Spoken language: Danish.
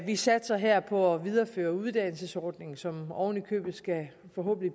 vi satser her på at videreføre uddannelsesordningen som oven i købet forhåbentlig skal